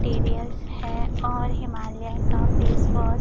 है और हिमालया का फेसवॉश --